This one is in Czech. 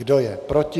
Kdo je proti?